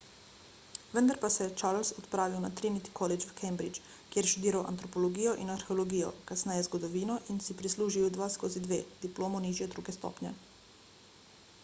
vendar pa se je charles odpravil na trinity college v cambridge kjer je študiral antropologijo in arheologijo kasneje zgodovino in si prislužil 2:2 diplomo nižje druge stopnje